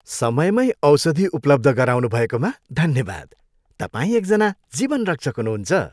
समयमै औषधि उपलब्ध गराउनुभएकोमा धन्यवाद। तपाईँ एकजना जीवनरक्षक हुनुहुन्छ।